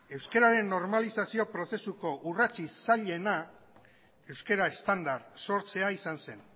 euskeraren normalizazio prozesuko urratsik zailena euskera estandar sortzea izan zen